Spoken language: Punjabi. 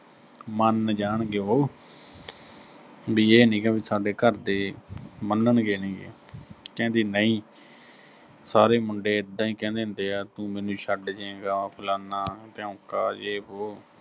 ਮੰਨ ਜਾਣਗੇ ਉਹੋ, ਵੀ ਇਹ ਨੀਂ ਗਾ ਵੀ ਸਾਡੇ ਘਰ ਦੇ ਮੰਨਣਗੇ ਨੀਂ ਗੇ, ਕਹਿੰਦੀ ਨਹੀਂ ਸਾਰੇ ਮੁੰਡੇ ਇਦਾਂ ਹੀ ਕਹਿੰਦੇ ਹੁੰਦੇ ਆ, ਤੂੰ ਮੈਨੂੰ ਛੱਡ ਜੇਂ ਗਾ, ਫਲਾਨਾ-ਧਿਓਂਕਾ, ਜੇ ਵੋ